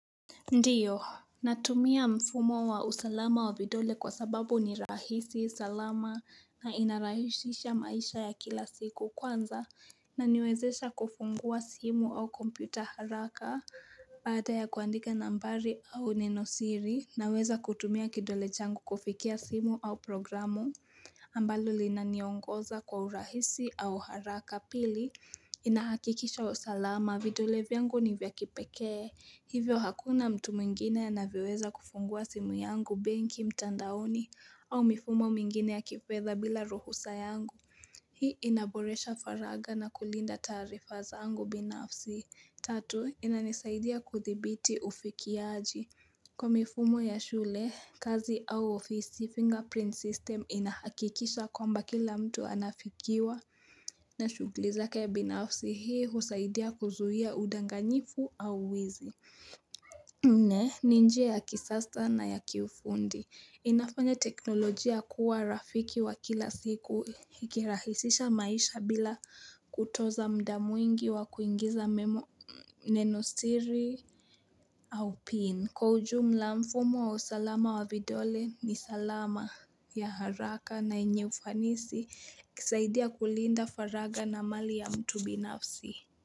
Ndio, natumia mfumo wa usalama wa vidole kwa sababu ni rahisi, salama na inarahisisha maisha ya kila siku kwanza inaniwezesha kufungua simu au kompyuta haraka baada ya kuandika nambari au nenosiri naweza kutumia kidole changu kufikia simu au programu ambalo linaniongoza kwa urahisi au haraka. Pili, inahakikisha usalama, vidole vyangu nivyakipekee, hivyo hakuna mtu mwingine anavyoweza kufungua simu yangu, benki, mtandaoni, au mifumo mingine ya kifedha bila ruhusa yangu. Hii inaboresha faraga na kulinda taarifa zangu binafsi. Tatu, inanisaidia kuthibiti ufikiaji. Kwa mifumo ya shule, kazi au ofisi, fingerprint system inahakikisha kwamba kila mtu anafikiwa na shughuli zake binafsi hii husaidia kuzuia udanganyifu au wizi. Nne, ni njia ya kisasa na ya kiufundi. Inafanya teknolojia kuwa rafiki wa kila siku ikirahisisha maisha bila kutoza muda mwingi wa kuingiza memo neno siri au pin. Kwa ujumla mfumo wa usalama wa vidole ni salama ya haraka na yenye ufanisi husaidia kulinda faraga na amali ya mtu binafsi.